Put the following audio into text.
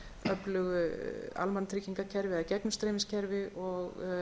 öflugu almannatryggingakerfi eða gegnumstreymiskerfi og